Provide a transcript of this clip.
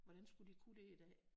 Hvordan skulle de kunne det i dag